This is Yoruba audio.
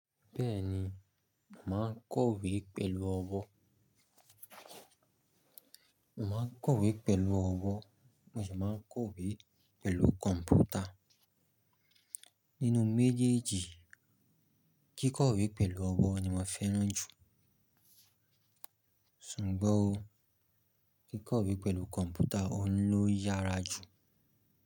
Bẹ́ẹ̀ni, mo màá n kọ̀wé pẹ̀lú ọwọ́, mo màá n kọ̀wé pẹ̀lú ọwọ́ mo sì máa ń kọ̀wé pẹ̀lú kọ̀npútà. Nínú méjèèjì, kíkọ̀wé pẹ̀lú ọwọ́ ni mo fẹ́ràn jù. Sùgbọ́n o, kíkọ̀wé pẹ̀lú kọ̀mpútà oun ló yára jù.